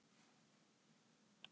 Henni má svara: Allt er til.